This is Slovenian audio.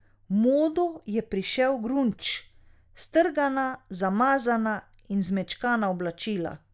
V modo je prišel grunge, strgana, zamazana in zmečkana oblačila.